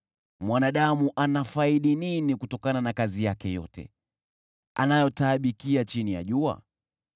Mwanadamu anafaidi nini kutokana na kazi yake yote anayotaabikia chini ya jua?